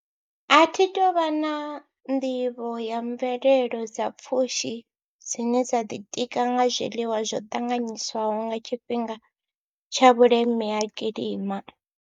A thi tou vha na nḓivho ya mvelelo dza pfhushi dzine dza ḓitika nga zwiḽiwa zwo ṱanganyiswaho nga tshifhinga tsha vhuleme ha kilima.